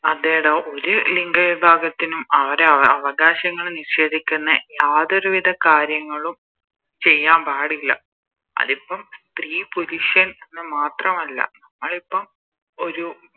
അതേടോ ഒരു ലിംഗ വിപാകത്തിന് അവരെ അവകാശങ്ങള് നിഷേദിക്കുന്നെ യാതൊരു വിധ കാര്യങ്ങളും ചെയ്യാൻ പാടില്ല അതിപ്പോ സ്ത്രീ പുരുഷൻ ന്ന് മാത്രമല്ല ഞങ്ങളിപ്പോ ഒരു